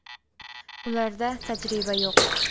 Ularda tajriba yo‘q.